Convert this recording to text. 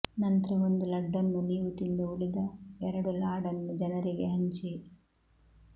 ನಂತ್ರ ಒಂದು ಲಡ್ಡನ್ನು ನೀವು ತಿಂದು ಉಳಿದ ಎರಡು ಲಾಡನ್ನು ಜನರಿಗೆ ಹಂಚಿ